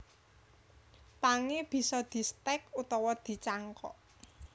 Pangé bisa distèk utawa dicangkok